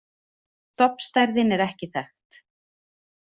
Stofnstærðin er ekki þekkt.